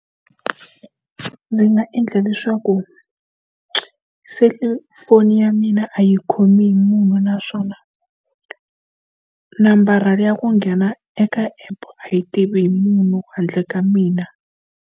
Ndzi nga endla leswaku selifoni ya mina a yi khomi hi munhu naswona, nambara le ya ku nghena eka app a yi tivi munhu handle ka mina.